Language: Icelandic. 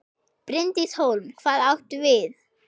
Bryndís Hólm: Hvað áttu við?